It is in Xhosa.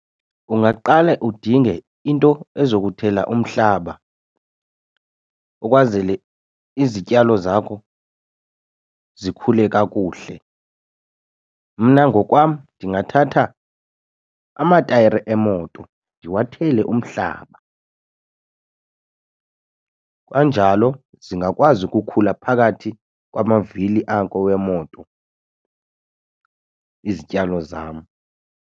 Ungaqale udinge into ezokuthela umhlaba ukwazele izityalo zakho zikhule kakuhle. Mna ngokwam ndingathatha amatayara emoto ndiwathele umhlaba. Kanjalo zingakwazi ukukhula phakathi kwamavili ako wemoto izityalo zam.